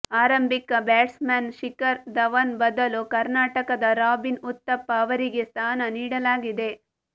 ಆರಂಭಿಕ ಬ್ಯಾಟ್ಸ್ಮನ್ ಶಿಖರ್ ಧವನ್ ಬದಲು ಕರ್ನಾಟಕದ ರಾಬಿನ್ ಉತ್ತಪ್ಪ ಅವರಿಗೆ ಸ್ಥಾನ ನೀಡಲಾಗಿದೆ